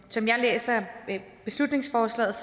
som jeg læser beslutningsforslaget